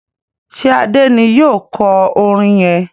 ṣe Ade ní yíò kò orin yén?